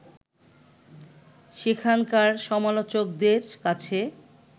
সেখানকার সমালোচকদের কাছে